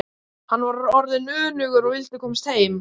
Hann var orðinn önugur og vildi komast heim.